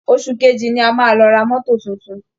Óṣù kejì ni a máa lọ ra mọ́to tuntun